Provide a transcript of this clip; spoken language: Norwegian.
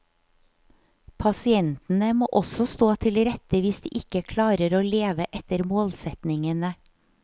Pasientene må også stå til rette hvis de ikke klarer å leve etter målsetningene.